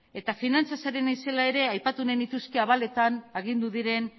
eta finantzaz ari naizelaere aipatu nahi nituzke abaletan agindu diren